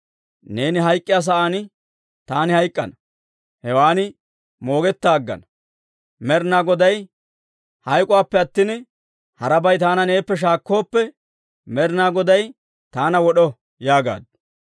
Neeni hayk'k'iyaa sa'aan taani hayk'k'ana; hewan moogetta aggana. Hayk'oppe attin, harabay taana neeppe shaakkooppe, Med'inaa Goday taana wod'o» yaagaaddu.